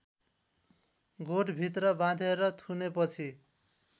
गोठभित्र बाँधेर थुनेपछि